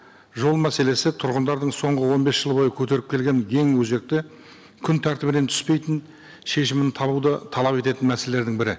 жол мәселесі тұрғындардың соңғы он бес жыл бойы көтеріп келген ең өзекті күн тәртібінен түспейтін шешімін табуды талап ететін мәселелердің бірі